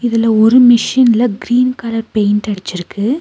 இதுல ஒரு மிஷின்ல க்ரீன் கலர் பெயிண்ட் அடிச்சிருக்கு.